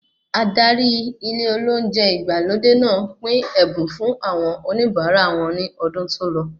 Adárí ilé olóúnjẹ ìgbàlódé náà pín ẹ̀bùn fún àwọn oníbara wọn ní ọdún tòlọ